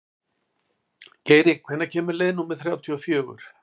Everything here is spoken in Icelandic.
Geiri, hvenær kemur leið númer þrjátíu og fjögur?